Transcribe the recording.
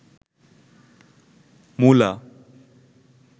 মুলা